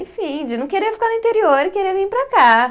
Enfim, de não querer ficar no interior e querer vir para cá.